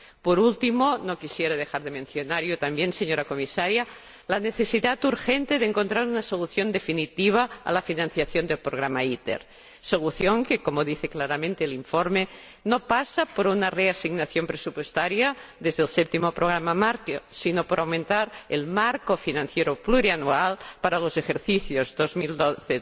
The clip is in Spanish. Por último, no quisiera dejar de mencionar yo también, señora Comisaria, la necesidad urgente de encontrar una solución definitiva para la financiación del programa ITER, solución que, como dice claramente el informe, no pasa por una reasignación presupuestaria desde el Séptimo Programa Marco, sino por aumentar el marco financiero plurianual para los ejercicios 2012